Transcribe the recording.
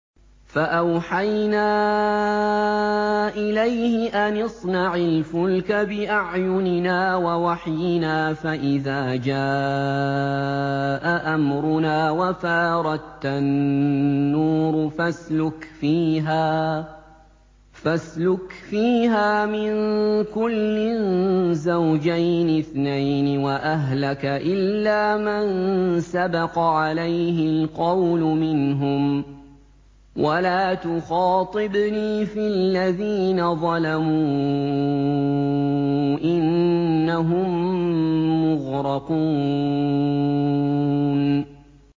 فَأَوْحَيْنَا إِلَيْهِ أَنِ اصْنَعِ الْفُلْكَ بِأَعْيُنِنَا وَوَحْيِنَا فَإِذَا جَاءَ أَمْرُنَا وَفَارَ التَّنُّورُ ۙ فَاسْلُكْ فِيهَا مِن كُلٍّ زَوْجَيْنِ اثْنَيْنِ وَأَهْلَكَ إِلَّا مَن سَبَقَ عَلَيْهِ الْقَوْلُ مِنْهُمْ ۖ وَلَا تُخَاطِبْنِي فِي الَّذِينَ ظَلَمُوا ۖ إِنَّهُم مُّغْرَقُونَ